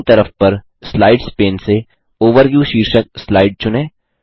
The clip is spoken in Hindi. बायीं तरफ पर स्लाइड्स पेन से ओवरव्यू शीर्षक स्लाइड चुनें